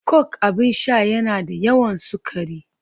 Coke abin sha yana da yawan sukari